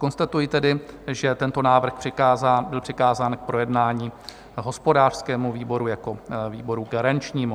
Konstatuji tedy, že tento návrh byl přikázán k projednání hospodářskému výboru jako výboru garančnímu.